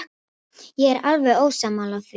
Ég er alveg ósammála því.